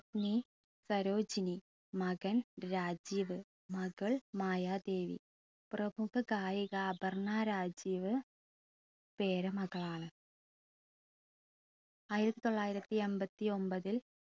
പത്നി സരോജിനി മകൻ രാജീവ് മകൾ മായാദേവി പ്രമുഖ ഗായിക അപർണ രാജീവ് പേരമകളാണ് ആയിരത്തി തൊള്ളായിരത്തി അമ്പത്തിയൊമ്പതിൽ